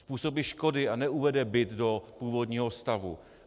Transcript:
Způsobí škody a neuvede byt do původního stavu.